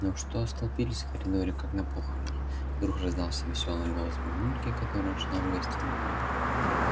ну что столпились в коридоре как на похоронах вдруг раздался весёлый голос мамульки которая шла в гостиную